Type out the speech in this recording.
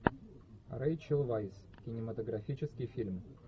рэйчел вайс кинематографический фильм